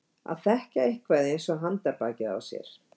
Að þekkja eitthvað eins og handarbakið á sér